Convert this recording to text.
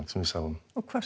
sem við sáum og hvað